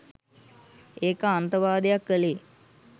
ඒක අන්තවාදයක් කලේ